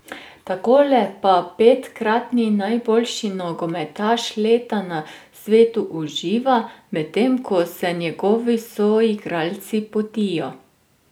Takole pa petkratni najboljši nogometaš leta na svetu uživa, medtem ko se njegovi soigralci potijo.